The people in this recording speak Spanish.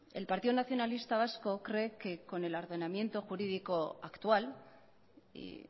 el partido nacionalista vasco cree que con el ordenamiento jurídico actual y